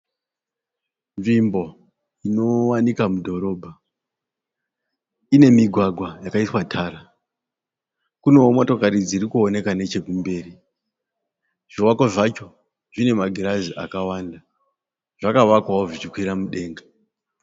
Nzvimbo inowanikwa mudhorobha. Ine migwagwa yakaiswa tara. Kunewo motokari dziri kuoneka nechekumberi. Zvivakwa zvacho zvine magirazi akawanda. Zvakavakwawo zvichikwira mudenga.